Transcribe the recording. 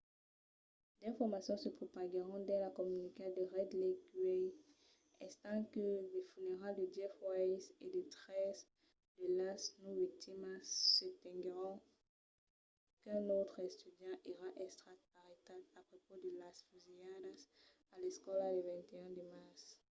d'informacions se propaguèron dins la comunitat de red lake uèi estent que las funeralhas de jeff weise e de tres de las nòu victimas se tenguèron qu'un autre estudiant èra estat arrestat a prepaus de las fusilhadas a l'escòla del 21 de març